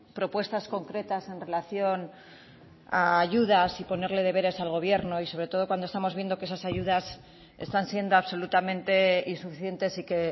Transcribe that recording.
propuestas concretas en relación a ayudas y ponerle deberes al gobierno y sobre todo cuando estamos viendo que esas ayudas están siendo absolutamente insuficientes y que